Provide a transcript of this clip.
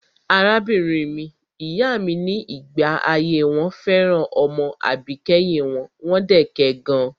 Arábìnrin ìyá mi ní ìgbà ayé wọn fẹ́ràn ọmọ àbíkẹ́yìn wọn, wọ́n dẹ̀ kẹ gan.